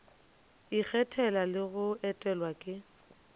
ikgethela le go etelwa ke